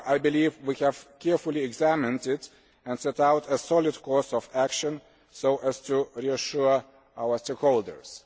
However, I believe we have carefully examined it and set out a solid course of action so as to reassure our stakeholders.